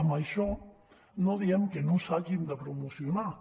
amb això no diem que no s’hagin de promocionar